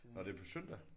Nå det er på søndag?